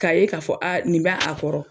K'a ye k'a fɔ a nin bɛ a kɔrɔ.